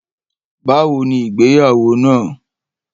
Bàwóni ìgbéyàwó na?